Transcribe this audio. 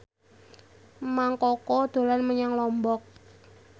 Mang Koko dolan menyang Lombok